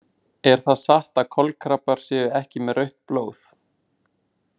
Er það satt að kolkrabbar séu ekki með rautt blóð?